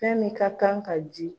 Fɛn min ka kan ka ji.